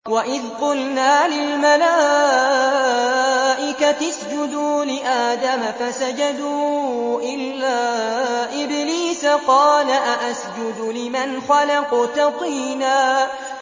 وَإِذْ قُلْنَا لِلْمَلَائِكَةِ اسْجُدُوا لِآدَمَ فَسَجَدُوا إِلَّا إِبْلِيسَ قَالَ أَأَسْجُدُ لِمَنْ خَلَقْتَ طِينًا